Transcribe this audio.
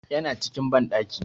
Yana cikin banɗaki.